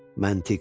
Məntiq.